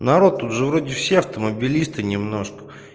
народ тут же вроде все автомобилисты немножко